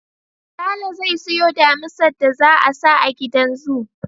Sale zai siyo Damisar da za a sa a gidan zoo